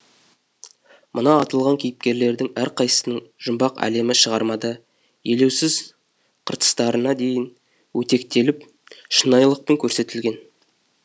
мына аталған кейіпкерлердің әрқайсысының жұмбақ әлемі шығармада елеусізқыртыстарына дейін өтектеліп шынайылықпен көрсетілген